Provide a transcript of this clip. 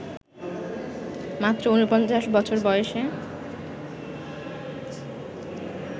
মাত্র ৪৯ বছর বয়সে